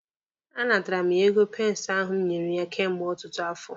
A natara mụ ya ego pensi ahụ m nyere ya kemgbe ọtụtụ afọ.